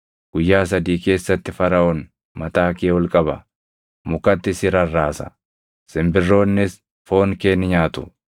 Guyyaa sadii keessatti Faraʼoon mataa kee ol qaba; mukatti si rarraasa. Simbirroonnis foon kee ni nyaatu.”